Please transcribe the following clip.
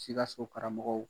Sikaso karamɔgɔw